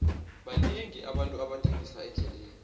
banengi abantu abathengisa endleleni